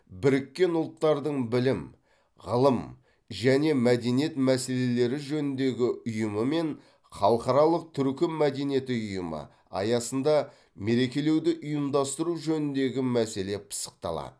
біріккен ұлттардың білім ғылым және мәдениет мәселелері жөніндегі ұйымы мен халықаралық түркі мәдениеті ұйымы аясында мерекелеуді ұйымдастыру жөніндегі мәселе пысықталады